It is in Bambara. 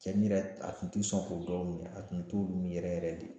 Cɛnni yɛrɛ a tun tɛ sɔn k'o dɔw minɛ a tun t'olu min yɛrɛ yɛrɛ de.